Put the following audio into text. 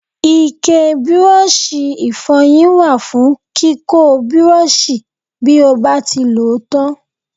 Ike Bírọ́ọ̀ṣì ìfọyín wà fún kíkọ́ Bírọ́ọ̀ṣì bí ó bá ti lòó tán.